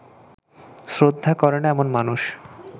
শ্রদ্ধা করে না এমন মানুষ